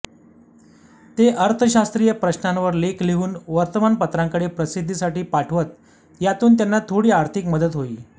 ते अर्थशास्त्रीय प्रश्नांवर लेख लिहून वर्तमानपत्रांकडे प्रसिद्धीसाठी पाठवत यातून त्यांना थोडी आर्थिक मदत होई